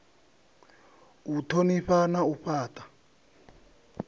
u thonifha na u fhata